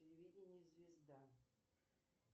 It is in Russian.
телевидение звезда